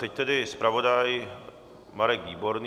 Teď tedy zpravodaj Marek Výborný.